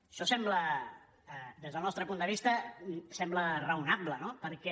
això sembla des del nostre punt de vista raonable no perquè